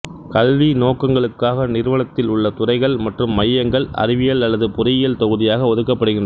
கல்வி நோக்கங்களுக்காக நிறுவனத்தில் உள்ள துறைகள் மற்றும் மையங்கள் அறிவியல் அல்லது பொறியியல் தொகுதியாக ஒதுக்கப்படுகின்றன